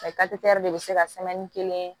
de bɛ se ka kelen